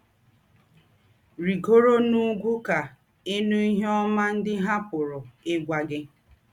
“ Rìgòrò n’ùgwù̄ kà ị̀ nụ̀ ìhè ọ́má ńdị hà pụ̀rù́ ígwà gị. ”